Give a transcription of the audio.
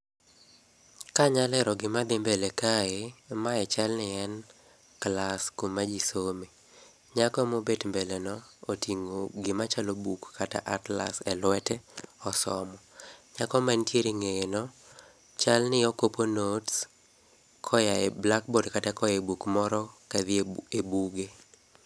Kanyalero gima dhi mbele kae, mae chalni en kals kuma jii some. Nyako mobet mbele no oting'o gima chalo buk kata [csatlas] e lwete osomo. Nyako mantiere e ng'eye no chalni okopo notes koa e blackbooard kata koae buk moro kadhie buge.